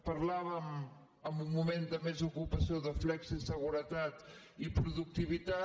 parlàvem en un moment de més ocupació de flexiseguretat i productivitat